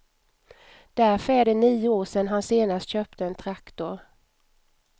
Därför är det nio år sedan han senast köpte en traktor.